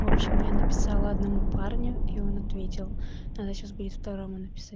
в общем я написала одному парню и он ответил надо сейчас будет второму написать